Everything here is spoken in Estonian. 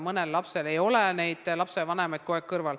Mõnel lapsel ei ole lapsevanemaid kogu aeg kõrval.